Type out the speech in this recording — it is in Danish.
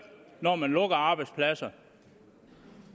når man lukker arbejdspladser